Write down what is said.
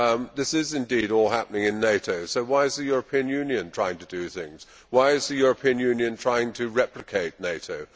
This is indeed all happening in NATO so why is the European Union trying to do things? Why is the European Union trying to replicate NATO?